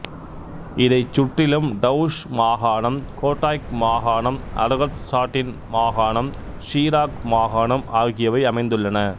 இதைச் சுற்றிலும் டவுஷ் மாகாணம் கோட்டாய்க் மாகாணம் அரகத்சாட்ன் மாகாணம் ஷிராக் மாகாணம் ஆகியவை அமைந்துள்ளன